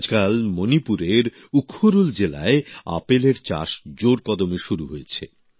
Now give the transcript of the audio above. আজকাল মনিপুরের উখরুল জেলায় আপেলের চাষ জোর কদমে শুরু হয়েছে